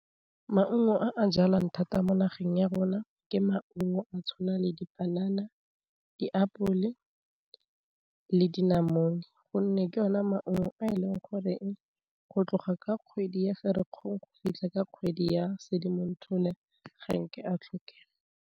Maungo a jalwang thata mo nageng ya rona ke maungo a tshwana le dipanana, diapole, le dinamune gonne ke yona maungo a e leng goreng go tloga ka kgwedi ya ferikgong go fitlha ka kgwedi ya sedimonthole ga nke a tlhokang.